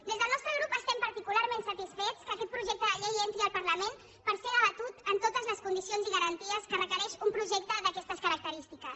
des del nostre grup estem particularment satisfets que aquest projecte de llei entri al parlament per ser debatut amb totes les condicions i garanties que requereix un projecte d’aquestes característiques